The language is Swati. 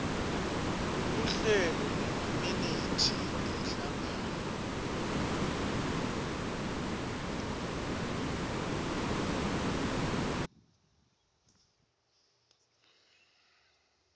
luhlelo nemaminithi emhlangano